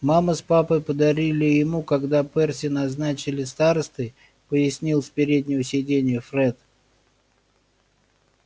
мама с папой подарили ему когда перси назначили старостой пояснил с переднего сиденья фред